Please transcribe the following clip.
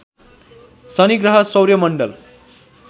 शनिग्रह सौर्यमण्डल